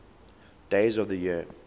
days of the year